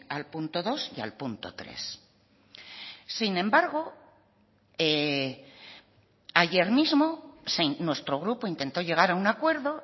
al punto dos y al punto tres sin embargo ayer mismo nuestro grupo intentó llegar a un acuerdo